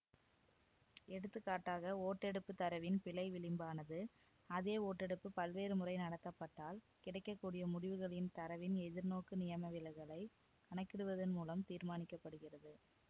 எடுத்துக்காட்டாக ஓட்டெடுப்பு தரவின் பிழை விளிம்பானது அதே ஓட்டெடுப்பு பல்வேறு முறை நடத்தப்பட்டால் கிடைக்க கூடிய முடிவுகளின் தரவின் எதிர்நோக்கு நியமவிலகலைக் கணக்கிடுவதன் மூலம் தீர்மானிக்கப்படுகிறது